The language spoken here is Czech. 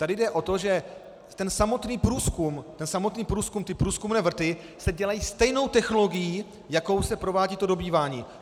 Tady jde o to, že ten samotný průzkum, ty průzkumné vrty se dělají stejnou technologií, jakou se provádí to dobývání.